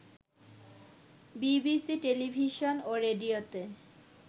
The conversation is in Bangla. বিবিসি টেলিভিশন ও রেডিওতে